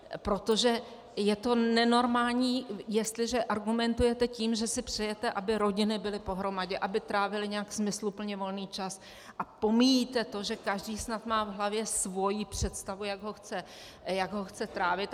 Protože je to nenormální, jestliže argumentujete tím, že si přejete, aby rodiny byly pohromadě, aby trávily nějak smysluplně volný čas, a pomíjíte to, že každý snad má v hlavě svoji představu, jak ho chce trávit.